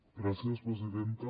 gràcies presidenta